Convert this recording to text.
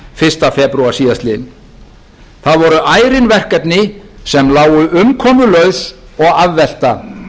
fyrsta febrúar síðastliðnum það voru ærin verkefni sem lágu umkomulaus og afvelta